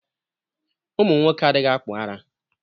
Ụmụnwoke adịghị akpụ ara.